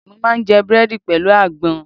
Mo máa ń jẹ Búrẹ́dì pẹ̀lú àgbọn.